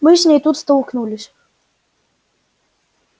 мы с ней тут столкнулись